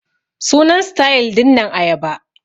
Sunan sitayil dinnan ayaba.